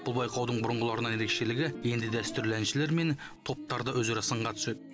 бұл байқаудың бұрынғыларынан ерекшелігі енді дәстүрлі әншілер мен топтар да өзара сынға түседі